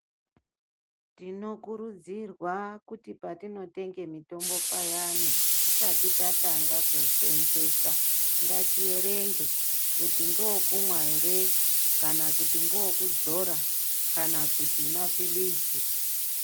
Tinokurudzirwa kuti patinotenge mutombo payana tisati tatanga kuusenzesa ngatierenge kuti ngewekumwa ere kana kuti ngewekudzora kana kuti mapilizi .